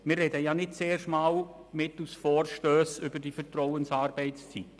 Wir sprechen ja nicht zum ersten Mal mittels Vorstössen über die Vertrauensarbeitszeit.